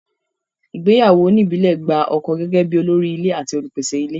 Ìgbéyàwó oníìbílẹ̀ gba ọkọ gẹ́gẹ́ bí olórí ilé àti olùpèsè ilé.